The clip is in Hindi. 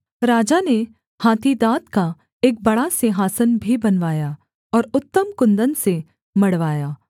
राजा ने हाथी दाँत का एक बड़ा सिंहासन भी बनवाया और उत्तम कुन्दन से मढ़वाया